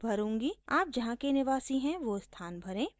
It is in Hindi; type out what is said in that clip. आप जहाँ के निवासी हैं वो स्थान भरें